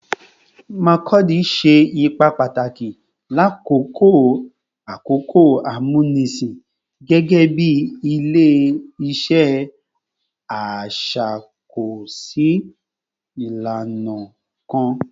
Makurdi ṣe ipa pataki lakoko akoko amunisin gẹgẹbi ile-iṣẹ iṣakoso ilana kan